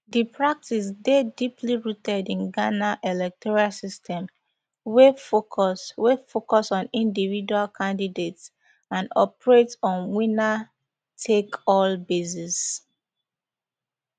di practice dey deeply rooted in ghana electoral system wey focus wey focus on individual candidates and operate on winnertakeall basis